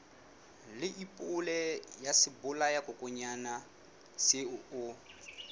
leibole ya sebolayakokwanyana seo o